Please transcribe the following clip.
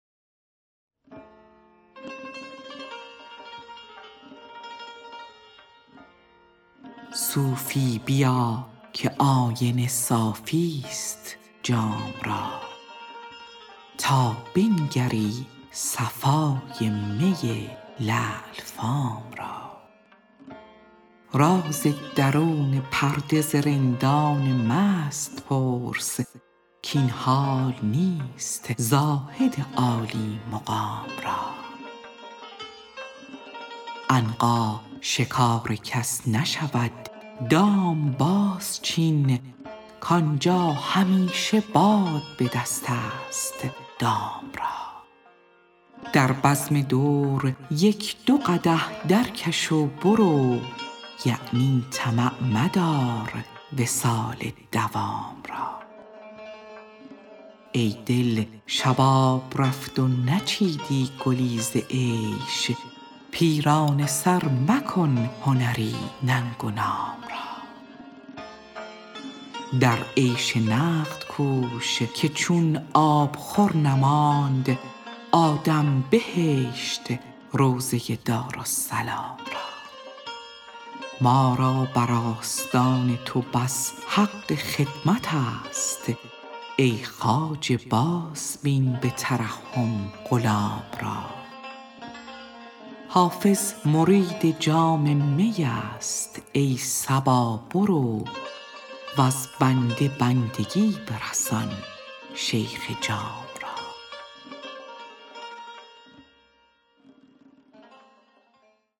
صوفی بیا که آینه صافی ست جام را تا بنگری صفای می لعل فام را راز درون پرده ز رندان مست پرس کاین حال نیست زاهد عالی مقام را عنقا شکار کس نشود دام بازچین کآنجا همیشه باد به دست است دام را در بزم دور یک دو قدح درکش و برو یعنی طمع مدار وصال مدام را ای دل شباب رفت و نچیدی گلی ز عیش پیرانه سر مکن هنری ننگ و نام را در عیش نقد کوش که چون آبخور نماند آدم بهشت روضه دارالسلام را ما را بر آستان تو بس حق خدمت است ای خواجه بازبین به ترحم غلام را حافظ مرید جام می است ای صبا برو وز بنده بندگی برسان شیخ جام را